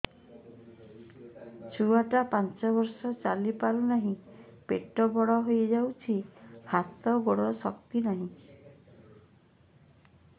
ଛୁଆଟା ପାଞ୍ଚ ବର୍ଷର ଚାଲି ପାରୁନାହଁ ପେଟ ବଡ ହୋଇ ଯାଉଛି ହାତ ଗୋଡ଼ର ଶକ୍ତି ନାହିଁ